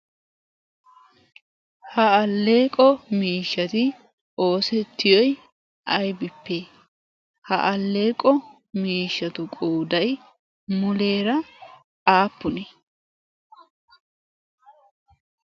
ha alleeqo miishshati oosettiyoi aibipp ha alleeqo miishshatu qoodaiy muleera aappuee?